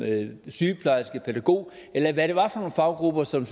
sygeplejerske pædagog eller hvad det var for nogle faggrupper som